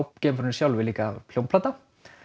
geimfarinu sjálfu er líka hljómplata